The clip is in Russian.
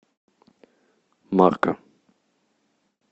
марка